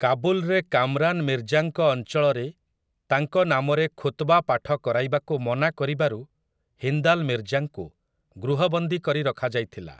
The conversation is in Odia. କାବୁଲରେ କାମରାନ୍ ମିର୍ଜାଙ୍କ ଅଞ୍ଚଳରେ ତାଙ୍କ ନାମରେ ଖୁତ୍‌ବା ପାଠ କରାଇବାକୁ ମନା କରିବାରୁ ହିନ୍ଦାଲ୍ ମିର୍ଜାଙ୍କୁ ଗୃହବନ୍ଦୀ କରି ରଖାଯାଇଥିଲା ।